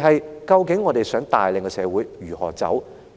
是究竟我們想帶領社會如何走？